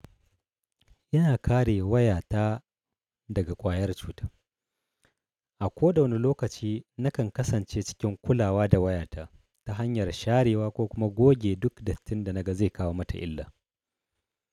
Yana kare waya ta daga kwayar cuta. A ko da wane lokaci na kan kasance cikin kulawa da waya ta ta hanyar sharewa ko kuma goge duk dattin da naga zai kawo mata illa.